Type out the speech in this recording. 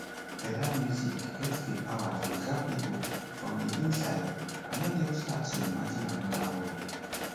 fela music get di power to grab pipo from di inside and help dem start to imagine anoda world